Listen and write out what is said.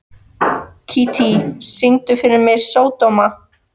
Kittý, syngdu fyrir mig „Sódóma“.